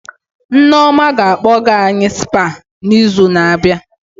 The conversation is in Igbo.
Nneoma ga-akpọga any Spa na izu na abịa